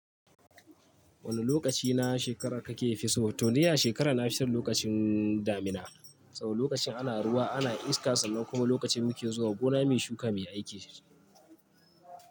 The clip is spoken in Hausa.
Wane lokaci na shekara kake fisu? To dai a shekara na fi son lokacin damina, saboda lokacin ana ruwa ana iska sannan kuma lokacin muke zuwa gona muyi shuka muyi aiki.